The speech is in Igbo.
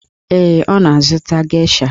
Ee, ọ na-azụta gesha.